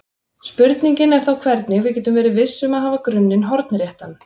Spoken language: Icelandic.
Spurningin er þá hvernig við getum verið viss um að hafa grunninn hornréttan.